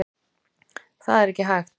Það er ekki hægt.